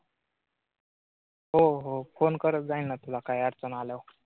हो हो, फोन करत जाईल न तुला काही अडचण आल्यावर.